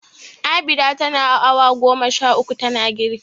Abida tana awa goma sha uku tana girki.